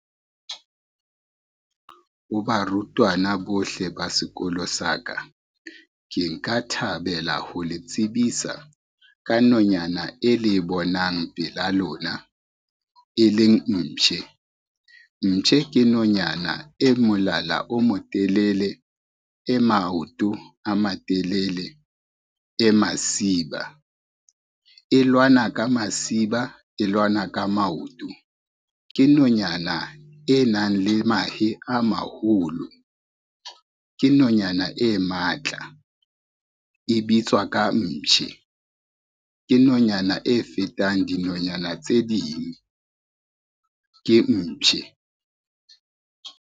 Ho barutwana bohle ba sekolo sa ka, ke nka thabela ho le tsebisa ka nonyana e le bonang pela lona e leng mpshe. Mpshe ke nonyana e molala o motelele, e maoto a matelele, e masiba. E lwana ka masiba, e lwana ka maoto. Ke nonyana e nang le mahe a maholo, ke nonyana e matla e bitswa ka mpshe. Ke nonyana e fetang dinonyana tse ding. Ke mpshe.